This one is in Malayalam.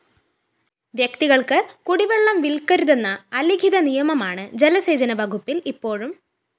വ്യക്തികള്‍ക്ക് കുടിവെള്ളം വില്‍ക്കരുതെന്ന അലിഖിത നിയമമാണ് ജലസേചന വകുപ്പില്‍ ഇപ്പോഴും